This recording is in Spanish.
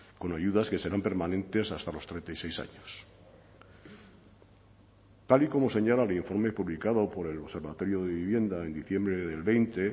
con ayudas que serán permanentes hasta los treinta y seis años tal y como señala el informe publicado por el observatorio de vivienda en diciembre del veinte